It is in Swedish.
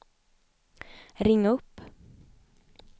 ring upp